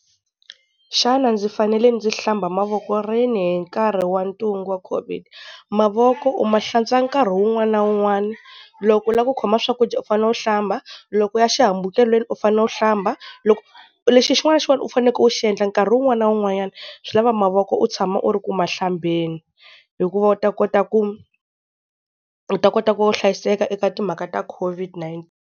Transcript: Xana ndzi fanele ndzi hlamba mavoko rini hi nkarhi wa ntungu wa Covid? Mavoko u ma hlantswa nkarhi wun'wana na wun'wana loko u la ku khoma swakudya u fanele u hlamba, loko u ya xihambukelweni u fanele u hlamba, loko, lexi xin'wana xin'wani u faneke u xi endla nkarhi wun'wana na wun'wanyana, swi lava mavoko u tshama u ri ku ma hlambeni hikuva u ta kota ku u ta kota ku hlayiseka eka timhaka ta Covid .